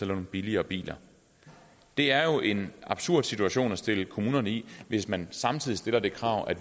nogle billigere biler det er jo en absurd situation at stille kommunerne i hvis man samtidig stiller det krav at